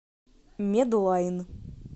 медлайн